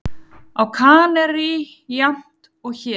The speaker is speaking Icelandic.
Á Kanarí jafnt og hér.